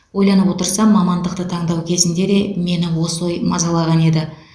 ойланып отырсам мамандықты таңдау кезінде де мені осы ой мазалаған еді